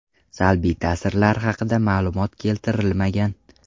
Salbiy ta’sirlar haqida ma’lumot keltirilmagan.